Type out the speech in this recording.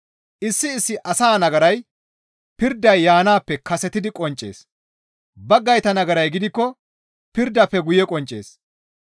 Issi issi asaa nagaray pirday yaanaappe kasetidi qonccees; baggayta nagaray gidikko pirdafe guye qonccees.